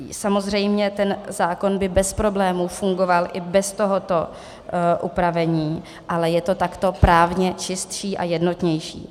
Samozřejmě ten zákon by bez problému fungoval i bez tohoto upravení, ale je to takhle právně čistší a jednotnější.